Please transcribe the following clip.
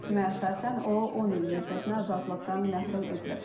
Hökümə əsasən o 10 il müddətinə azadlıqdan məhrum edilib.